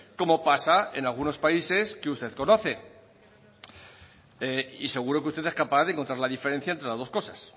como pasa en algunos países que usted conoce y seguro que usted es capaz de encontrar la diferencia entre las dos cosas